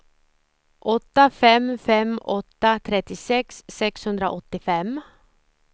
åtta fem fem åtta trettiosex sexhundraåttiofem